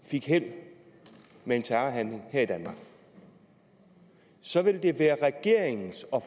fik held med en terrorhandling her i danmark så vil det være regeringens og